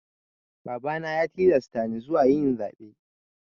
Babana ya tilasta ni zuwa yin zaɓe.